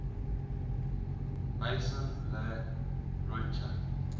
maison la roche